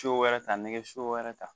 wɛrɛ ta nɛgɛso wɛrɛ ta